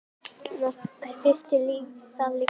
Hersir: Þið líka?